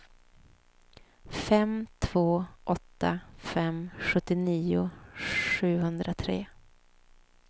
fem två åtta fem sjuttionio sjuhundratre